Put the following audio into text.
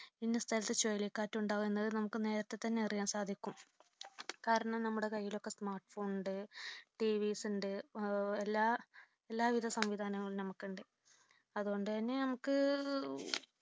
ഇന്ന സ്ഥലത്തു ചുഴലിക്കാറ്റ് ഉണ്ടാകും എന്നുള്ളത് നമുക്ക് നേരത്തെ തന്നെ അറിയാൻ സാധിക്കും. കാരണം നമ്മുടെ കൈയിലൊക്കെ smart phone ഉണ്ട് TV's ഉണ്ട് എല്ലാവിധ സംവിധാനങ്ങൾ നമുക്കുണ്ട് അതുകൊണ്ട് തന്നെ നമുക്ക്